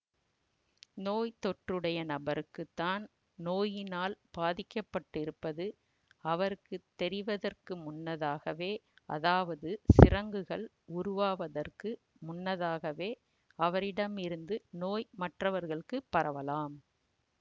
நோய் தொற்றுடைய நபருக்கு தான் நோயினால் பாதிக்கப்பட்டிருப்பது அவருக்கு தெரிவதற்கு முன்னதாகவே அதாவது சிரங்குகள் உருவாவதற்கு முன்னதாகவே அவரிடமிருந்து நோய் மற்றவர்களுக்கு பரவலாம்